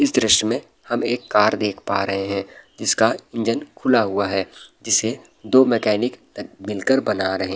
इस दृश्य में हम एक कार देख पा रहे है जिसका इंजन खुला हुआ है जिसे दो मैकेनिक मिल के बना रहे --